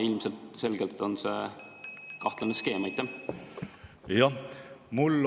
Ilmselgelt on see kahtlane skeem.